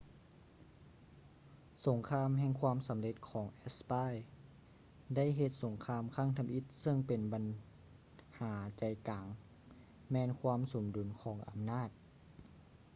ສົງຄາມແຫ່ງຄວາມສຳເລັດຂອງແອັດສະປາຍໄດ້ເຮັດສົງຄາມຄັ້ງທຳອິດເຊິ່ງບັນຫາໃຈກາງແມ່ນຄວາມສົມດຸນຂອງອຳນາດ